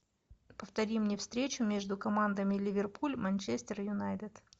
повтори мне встречу между командами ливерпуль манчестер юнайтед